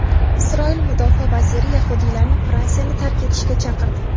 Isroil mudofaa vaziri yahudiylarni Fransiyani tark etishga chaqirdi.